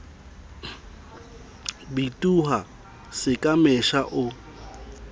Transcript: bitoha se ka mesha o